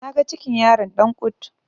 naga cikin yaran Dan kut